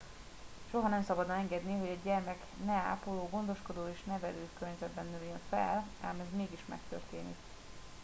soha nem szabadna engedni hogy egy gyermek ne ápoló gondoskodó és nevelő környezetben nőjön fel ám ez mégis megtörténik